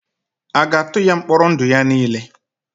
A ga-atụ ya mkpọrọ ndụ ya niile?